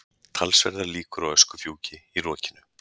Talsverðar líkur á öskufjúki í rokinu